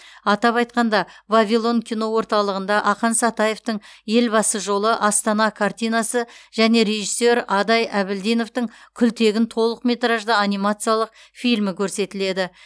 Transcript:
атап айтқанда вавилон кино орталығында ақан сатаевтың елбасы жолы астана картинасы және режиссер адай әбілдиновтің күлтегін толықметражды анимациялық фильмі көрсетіледі